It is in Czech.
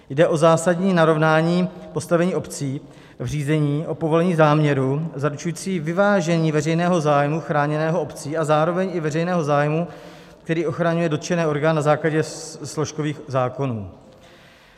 Jde o zásadní narovnání postavení obcí v řízení o povolení záměru zaručující vyvážení veřejného zájmu chráněného obcí a zároveň i veřejného zájmu, který ochraňuje dotčené orgány na základě složkových zákonů.